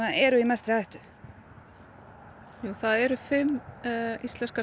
eru í mestri hættu það eru fimm íslenskar